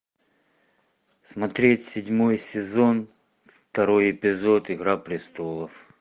смотреть седьмой сезон второй эпизод игра престолов